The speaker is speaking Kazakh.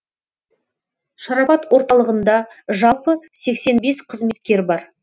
шарапат орталығында жалпы сексен бес қызметкер бар